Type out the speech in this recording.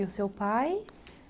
E o seu pai?